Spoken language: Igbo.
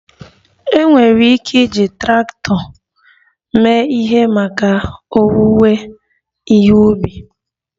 E nwee ike iji traktọ mee ihe maka owuwe ihe ubi